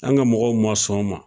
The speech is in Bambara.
An ka mɔgɔw ma sɔn o ma,